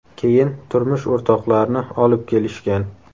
Keyin turmush o‘rtoqlarini olib kelishgan.